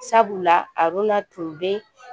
Sabula aruna tun bɛ